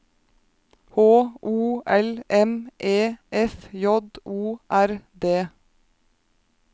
H O L M E F J O R D